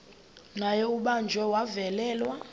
naye ubanjiwe wavalelwa